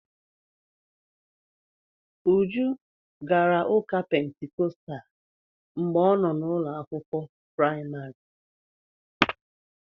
Uju gara ụka Pentikọstal mgbe ọ nọ n'ụlọ akwụkwọ praịmarị.